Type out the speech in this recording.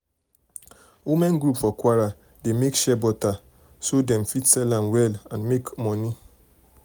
women group for kwara dey make shea butter so dem fit sell am well and make money. and make money.